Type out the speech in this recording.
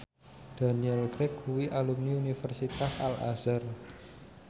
Daniel Craig kuwi alumni Universitas Al Azhar